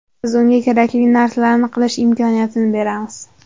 Biz unga kerakli narsalarni qilish imkoniyatini beramiz.